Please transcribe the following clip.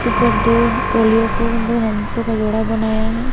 ऊपर दो हथेलियां को दो हंसों का जोड़ा बनाया है।